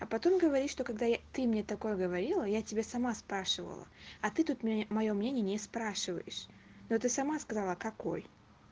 а потом говоришь что когда ты мне такое говорила я тебе сама спрашивала а ты тут мне моё мнение не спрашиваешь но ты сама сказала какой